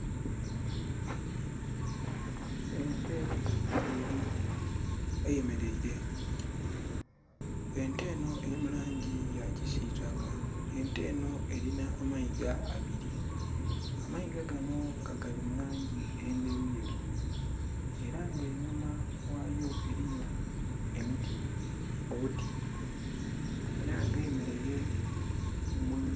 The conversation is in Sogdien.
Ente enho eyemereire, ente enho eri mulangi yakisitaka, ente enho erinha amaiga abili, amaiga ganho gali mulangi endhelu yelu era nga enhuma ghayo eliyo emiti era nga eyemeleile ....